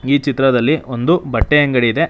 ಈ ಚಿತ್ರದಲ್ಲಿ ಒಂದು ಬಟ್ಟೆ ಅಂಗಡಿ ಇದೆ.